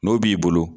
N'o b'i bolo